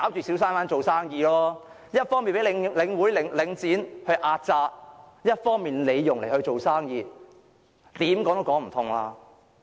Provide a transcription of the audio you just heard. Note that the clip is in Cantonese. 小商販一方面被領展壓榨，一方面要在那裏做生意，怎樣說也說不通。